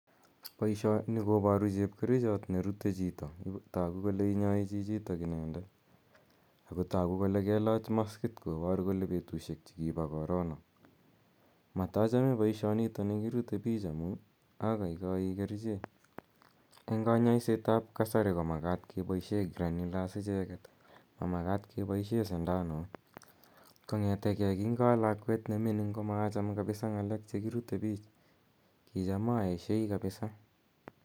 Poishoni koparu chepkerichot ne rue chito ako tagu kole inyai chichitok inendet ako tagu kole kelach maskit kopar kole petushek chu kipo korona. Matachame poishonitani kirute pich amu agaigai kerichek. Eng' kanyaaiset ap kasati ko makat kepaishe granulars icheket, ma makat kepaishe sindanut. Kong'ete gei kingo a lakwet ne mining' ko maacham kapisa nh'alek che kirute pich, ki cham aeshai kapisa.